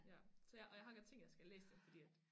Så jeg og jeg har godt tænkt jeg skal have læst dem fordi at